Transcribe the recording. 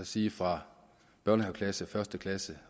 sige fra børnehaveklasse og første klasse